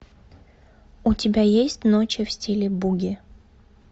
у тебя есть ночи в стиле буги